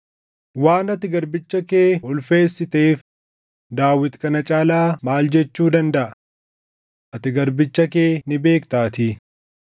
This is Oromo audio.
“Waan ati garbicha kee ulfeessiteef Daawit kana caalaa maal jechuu dandaʼa? Ati garbicha kee ni beektaatii.